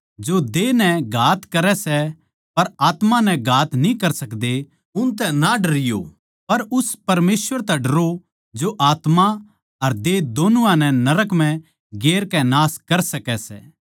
जो देह नै घात करै सै पर आत्मा नै घात न्ही कर सकदे उनतै ना डरयो पर उसतै डरयो पर उस परमेसवर तै डरो जो आत्मा अर देह दोनुआ नै नरक म्ह गिरकै नाश कर सकै सै